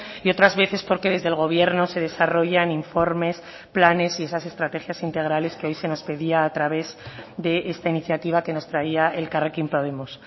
y otras veces porque desde el gobierno se desarrollan informes planes y esas estrategias integrales que hoy se nos pedía a través de esta iniciativa que nos traía elkarrekin podemos